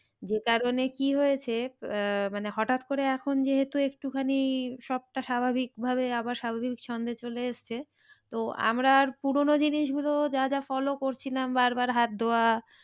যে কারণে কি হয়েছে আহ মানে হঠাৎ করে এখন যেহেতু একটু খানি সবটা স্বাভাবিক ভাবে আবার স্বাভাবিক ছন্দে চলে এসছে। তো আমরা আর পুরোনো জিনিস গুলো যা যা follow করছিলাম বার বার হাত ধোয়া